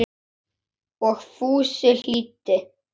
Og Fúsi hlýddi.